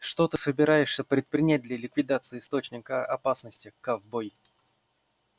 что ты собираешься предпринять для ликвидации источника опасности ковбой